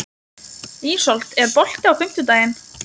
Ísold, er bolti á fimmtudaginn?